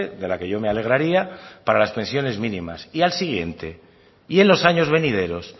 de la que yo me alegraría para las pensiones mínimas y al siguiente y en los años venideros